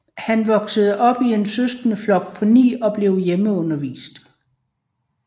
Han voksede op i en søskendeflok på ni og blev hjemmeundervist